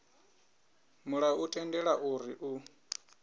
mulayo u tendela uri u